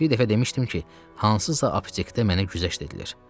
Bir dəfə demişdim ki, hansısa aptekdə mənə güzəşt edilir.